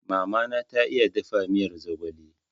Mama na ta iya dafa miyar zogale